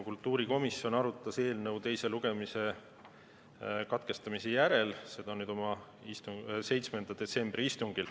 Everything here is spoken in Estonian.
Kultuurikomisjon arutas eelnõu teise lugemise katkestamise järel seda oma 7. detsembri istungil.